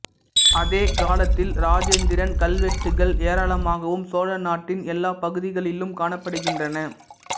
அதே காலத்தில் இராஜேந்திரன் கல்வெட்டுகள் ஏராளமாகவும் சோழ நாட்டின் எல்லாப் பகுதிகளிலும் காணப்படுகின்றன